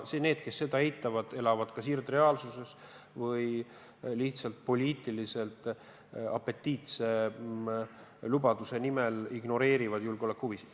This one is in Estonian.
Need, kes seda eitavad, elavad kas irdreaalsuses või lihtsalt poliitiliselt apetiitse lubaduse nimel ignoreerivad julgeolekuhuvisid.